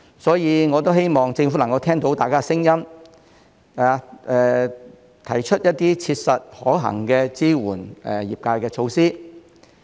所以，我希望政府能夠聽到大家的聲音，提出一些切實可行支援業界的措施。